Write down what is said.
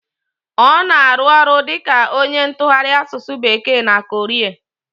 Ọ na arụ ọrụ dịka onye ntụgharị asụsụ bekee na Korea